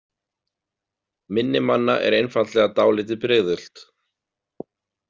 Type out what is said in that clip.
Minni manna er einfaldlega dálítið brigðult.